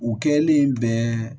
U kɛlen bɛɛ